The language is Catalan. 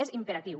és imperatiu